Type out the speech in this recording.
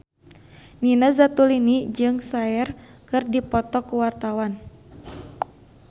Nina Zatulini jeung Cher keur dipoto ku wartawan